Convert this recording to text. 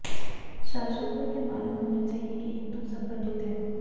शासनको यह मालूम होना चाहिए कि हिंदु संगठित हैं